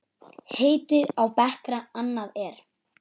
Heiti á bekra annað er.